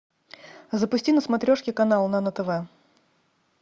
запусти на смотрешке канал нано тв